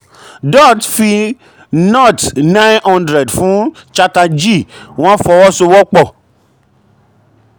dutt fi nóòtì nine hundred fún chatterjee wọ́n fọwọ́sowọ́pọ̀.